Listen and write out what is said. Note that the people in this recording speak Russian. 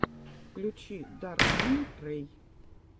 включи даркмун рэй